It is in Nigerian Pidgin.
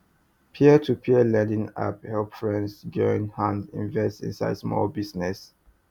peer to peer lending app help friends join hands invest inside small business